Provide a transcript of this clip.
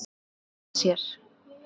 Að gefa af sér.